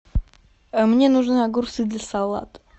мне нужны огурцы для салата